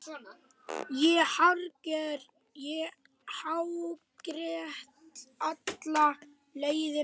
Ég hágrét alla leiðina heim.